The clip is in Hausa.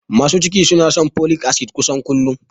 Masu ciki suna shan folik asid kusan kullum